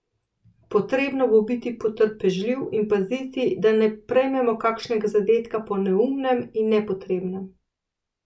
Potrebno bo biti potrpežljiv in paziti, da ne prejmemo kakšnega zadetka po neumnem in nepotrebnem.